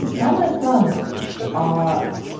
самая странная аа